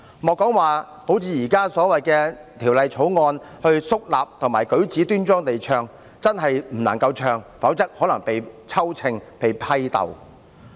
不僅不能如《條例草案》所訂，肅立和舉止端莊地唱，簡單開口唱也不行，否則可能會被算帳，被批鬥。